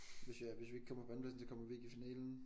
Hvis vi hvis vi ikke kommer på andenpladsen så kommer vi ikke i finalen?